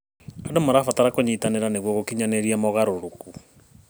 Andũ marabatara kũnyitanĩra nĩguo gũkinyanĩria mogarũrũku.